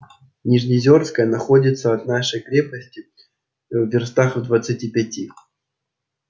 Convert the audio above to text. нижнеозёрская находится от нашей крепости в вёрстах в двадцати пяти